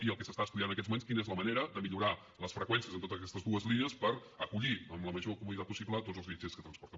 i el que s’està estudiant en aquests moments quina és la manera de millorar les freqüències en totes aquestes dues línies per acollir amb la major comoditat possible tots els viatgers que transporten